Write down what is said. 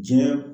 Diɲɛ